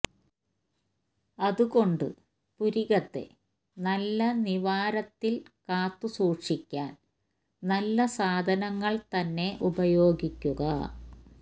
അതുകൊണ്ട് പുരികത്തെ നല്ല നിവാരത്തില് കാത്തുസൂക്ഷിക്കാന് നല്ല സാധനങ്ങള് തന്നെ ഉപയോഗിക്കുക